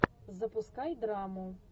запускай драму